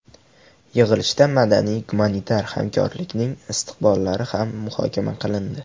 Yig‘ilishda madaniy-gumanitar hamkorlikning istiqbollari ham muhokama qilindi.